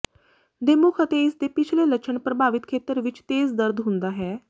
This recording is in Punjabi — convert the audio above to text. ਦੇ ਮੁੱਖ ਅਤੇ ਇਸ ਦੇ ਪਹਿਲੇ ਲੱਛਣ ਪ੍ਰਭਾਵਿਤ ਖੇਤਰ ਵਿਚ ਤੇਜ਼ ਦਰਦ ਹੁੰਦਾ ਹੈ